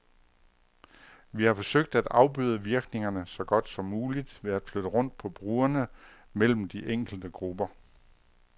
Vi har forsøgt at afbøde virkningerne så godt som muligt ved at flytte rundt på brugerne mellem de enkelte grupper.